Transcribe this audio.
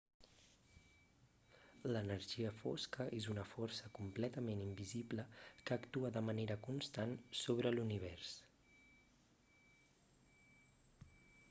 l'energia fosca és una força completament invisible que actua de manera constant sobre l'univers